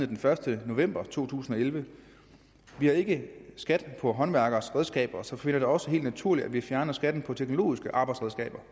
den første november 2011 vi har ikke skat på håndværkeres redskaber så vi finder det også helt naturligt at vi fjerner skatten på teknologiske arbejdsredskaber